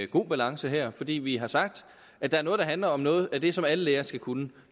god balance her fordi vi har sagt at der er noget der handler om noget af det som alle lærere skal kunne